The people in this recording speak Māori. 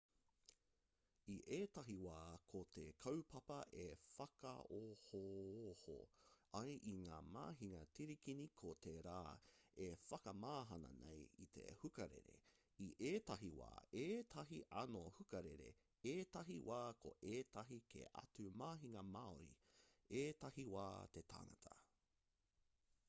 i ētahi wā ko te kaupapa e whakaohooho ai i ngā mahinga tirikini ko te rā e whakamahana nei i te hukarere i ētahi wā ētahi anō hukarere ētahi wā ko ētahi kē atu mahinga māori ētahi wā te tangata